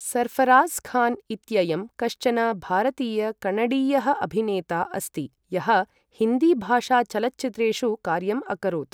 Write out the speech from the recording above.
सर्ऴराज़् खान् इत्ययं कश्चन भारतीय कणडीयः अभिनेता अस्ति यः हिन्दीभाषाचलच्चित्रेषु कार्यम् अकरोत्।